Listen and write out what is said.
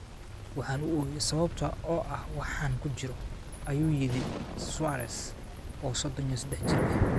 Waxaan u ooyay sababta oo ah waxa aan ku jiro,” ayuu yidhi Suarez, oo sodon iyo sedax jir ah.